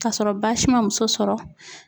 Kasɔrɔ baasi ma muso sɔrɔ